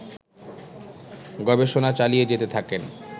গবেষণা চালিয়ে যেতে থাকেন